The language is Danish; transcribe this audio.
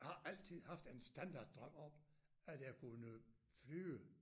Har altid haft en standard drøm om at jeg kunne flyve